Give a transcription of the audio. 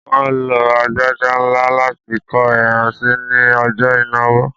Wọ́n lo agbada ńlá láti kó ẹran sí ní ọjọ́ ìnáwó